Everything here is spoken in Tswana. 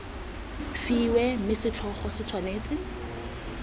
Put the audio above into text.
fiwe mme setlhogo se tshwanetse